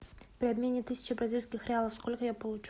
при обмене тысячи бразильских реалов сколько я получу